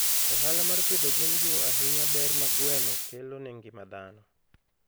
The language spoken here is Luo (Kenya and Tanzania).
Ohala mar pidho gwen jiwo ahinya ber ma gweno kelo ne ngima dhano.